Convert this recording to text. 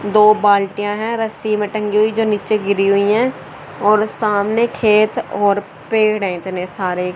दो बाल्टियां हैं रस्सी में टंगी हुई जो नीचे गिरी हुई हैं और सामने खेत और पेड़ हैं इतने सारे।